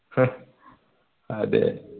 അഹ് അതെ